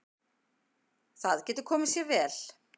Það getur komið sér vel.